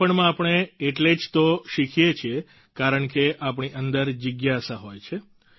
બાળપણમાં આપણે એટલે જ તો શીખીએ છીએ કારણ કે આપણી અંદર જિજ્ઞાસા હોય છે